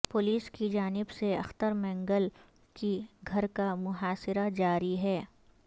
police کی جانب سے اختر مینگل کے گھر کا محاصرہ جاری ہے